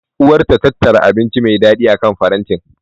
Uwar ta tattara abinci me daɗi akan farantin.